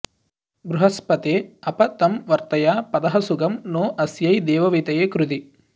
बृहस्पते अप तं वर्तया पथः सुगं नो अस्यै देववीतये कृधि